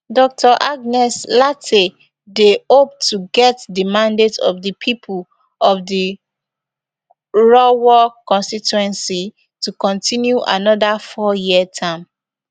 dr agnes lartey dey hope to get di mandate of di pipo of di krowor constituency to continue anoda fouryear term